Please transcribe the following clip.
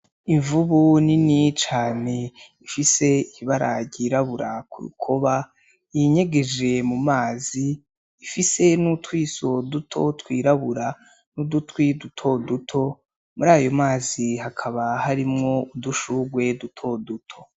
Imvubu nini cane ifise ibara ryirabura ku rukoba, yinyegereje mu mazi, ifise n'utwisho duto twirabura n'udutwi duto duto, muri ayo mazi hakaba harimwo udushurwe duto duto.